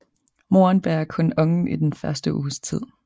Moren bærer kun ungen i den første uges tid